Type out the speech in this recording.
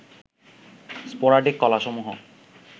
sporadic কলাসমূহ